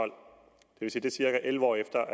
vil sige cirka elleve år efter